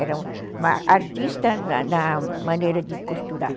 Era uma artista na na maneira de costurar.